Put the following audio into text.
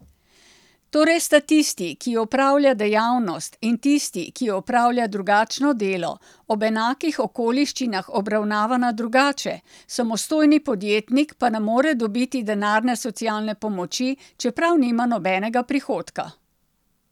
Torej sta tisti, ki opravlja dejavnost, in tisti, ki opravlja drugačno delo, ob enakih okoliščinah obravnavana drugače, samostojni podjetnik pa ne more dobiti denarne socialne pomoči, čeprav nima nobenega prihodka.